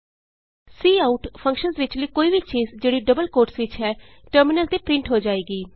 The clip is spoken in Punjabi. ਕਾਉਟ ਫੰਕਸ਼ਨ ਵਿਚਲੀ ਕੋਈ ਵੀ ਚੀਜ ਜਿਹੜੀ ਡਬਲ ਕੋਟਸ ਵਿਚ ਹੈ ਟਰਮਿਨਲ ਤੇ ਪਰਿੰਟ ਹੋ ਜਾਏਗੀ